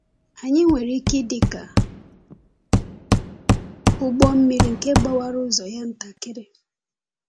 Anyị nwere ike ịdị ka ụgbọ mmiri nke gbawara ụzọ ya ntakịrị.